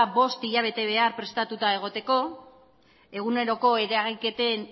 bost hilabete behar prestatuta egoteko eguneroko eragiketen